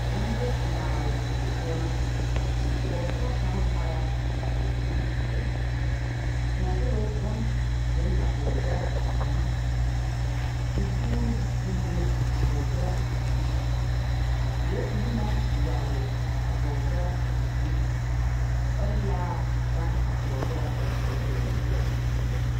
Bondimaale die poͻ na, pͻgesara kaŋ are na a seԑ kuri zeԑ. Kontoloŋ bone beŋ a pͻgesara zukuri, tepuuri meŋ eŋ a pͻgesaraa zukuri. Zeԑre sulli na yageli a pͻgesara zekuri, ԑ laa gaŋ a pͻgesara doloŋ loori.